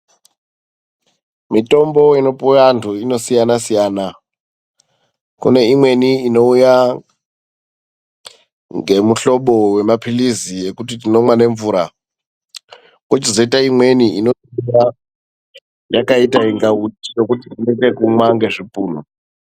Mitombo inopiwe antu inosiyana siyana ,kune imweni inowuya ngemihlobo wemaphilisi yekuti tinonwa nemvura. Kochizoita imweni yakaita kunga uchi yekuti unoita kunwa nechipunu.